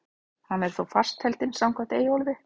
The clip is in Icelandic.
Hann er þó fastheldinn samkvæmt Eyjólfi.